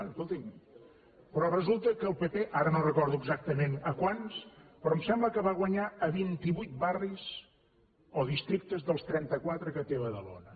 escolti’m però resulta que el pp ara no recordo exactament a quants però m’ho sembla va guanyar a vint i vuit barris o districtes dels trenta quatre que té badalona